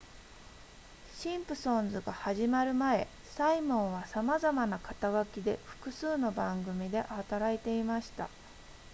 シンプソンズが始まる前サイモンはさまざまな肩書きで複数の番組で働いていました